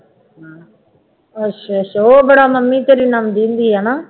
ਅੱਛਾ ਅੱਛਾ ਉਹ ਬੜਾ ਮੰਮੀ ਤੇਰੀ ਲਾਉਂਦੀ ਹੁੰਦੀ ਹੈ ਨਾ